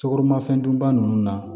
Sukoromafɛn dunba ninnu na